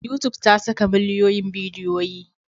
Youtube ta saka miliyoyin bidiyoyi.